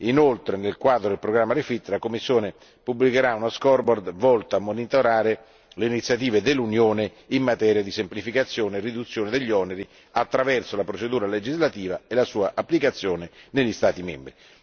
Inoltre, nel quadro del programma REFIT, la Commissione pubblicherà uno scoreboard volto a monitorare le iniziative dell'Unione in materia di semplificazione e riduzione degli oneri attraverso la procedura legislativa e la sua applicazione negli Stati membri.